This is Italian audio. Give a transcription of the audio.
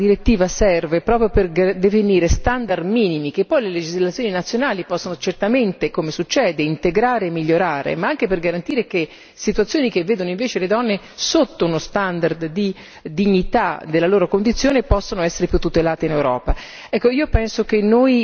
Vorrei ricordare che una direttiva serve proprio per definire standard minimi che poi le legislazioni nazionali possono certamente, come succede, integrare e migliorare, ma anche per garantire che situazioni che vedono invece le donne sotto uno standard di dignità della loro condizione possano essere più tutelate in Europa.